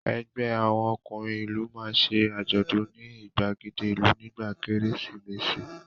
Ẹgbẹ́ àwọn ọkùnrin ìlú máa ṣe àjọ̀dún ní ìgbàgede ìlú nígbà Kérésìmesì